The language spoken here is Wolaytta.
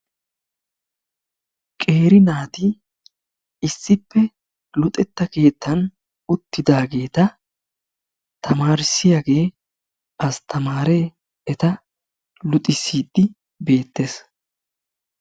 Qeeri naati issppe luxettaa keettan uttidaageta tamarissiyaagee astamaree eta luxxisiidi beettees.